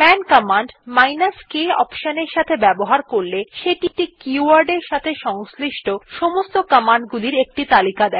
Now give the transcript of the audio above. মান command k option এর সাথে ব্যবহার করলে সেটি একটি keyword এর সাথে সংশ্লিষ্ট সমস্ত কমান্ড গুলির একটি তালিকা দেয়